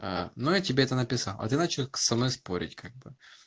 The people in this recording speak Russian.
ну я тебе это написал а ты начала со мной спорить как бы